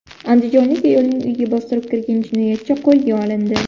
Andijonlik ayolning uyiga bostirib kirgan jinoyatchi qo‘lga olindi.